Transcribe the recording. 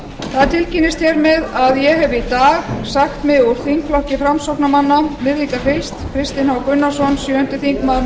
það tilkynnist hér með að ég hef í dag sagt mig úr þingflokki framsóknarmanna virðingarfyllst kristinn h gunnarsson sjöundi þingmaður